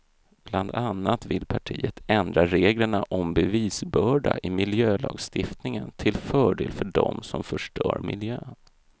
Bland annat vill partiet ändra reglerna om bevisbörda i miljölagstiftningen till fördel för dem som förstör miljön.